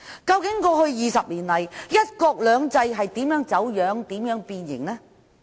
究竟過去20年來，"一國兩制"如何走樣和變形？